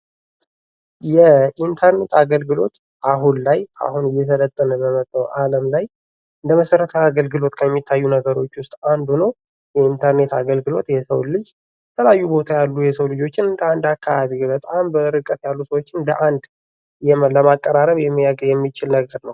የኢንተርኔት አገልግሎት አሁን ላይ አሁን እየሰለጠነ በመጣው አለም ላይ እንደ መሰረታዊ አገልግሎት ከሚታዩ ነገሮች ውስጥ አንዱ ነው። የኢንተርኔት አገልግሎት የሰውን ልጅ የተለያዩ ቦታ ያሉ የሰው ልጆችን ከአንድ አካባቢ በጣም በርቀት ያሉ ሰዎችን በአንድ ለማቀራረብ የሚችል ነገር ነው ።